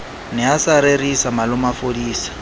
ne a sa rerisa malomafodisa